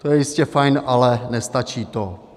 To je jistě fajn, ale nestačí to.